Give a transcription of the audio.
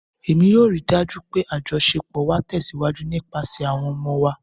Emi yoo rii daju pe ajọṣepọ wa tẹsiwaju nipasẹ awọn ọmọ wa